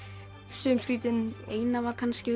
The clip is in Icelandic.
sum skrýtin eina var kannski